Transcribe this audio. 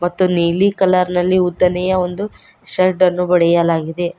ಮತ್ತು ನೀಲಿ ಕಲರ್ ನಲ್ಲಿ ಉದ್ದನೆಯ ಒಂದು ಶಡ್ದ ನು ಬಡೆಯಲಾಗಿದೆ.